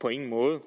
på ingen måde